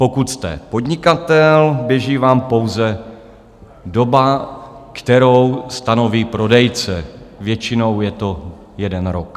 Pokud jste podnikatel, běží vám pouze doba, kterou stanoví prodejce, většinou je to jeden rok.